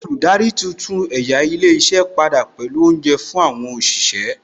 Olùdarí tuntun ẹ̀yà ilé iṣẹ́ padà pẹ̀lú Oúnjẹ fún àwọn òṣìṣẹ́